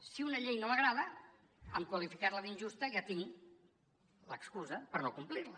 si una llei no m’agrada amb qualificar la d’injusta ja tinc l’excusa per no complir la